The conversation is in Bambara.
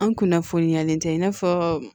An kunnafoniyalen tɛ i n'a fɔ